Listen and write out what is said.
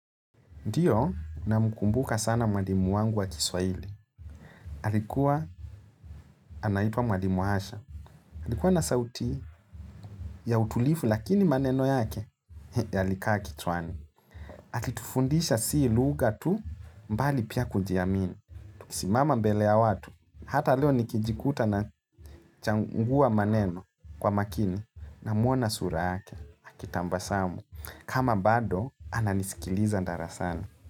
Ndiyo namkumbuka sana mwalimu wangu wa kiswahili. Alikuwa anaitwa mwalimu asha. Alikuwa na sauti ya utulivu lakini maneno yake yalikaa kichwani. Alitufundisha si lugha tu bali pia kujiamini. Tukisimama mbele ya watu. Hata leo nikijikuta nachagua maneno kwa makini namuona sura yake. Alitufundisha si lugha tu bali pia kujiamini.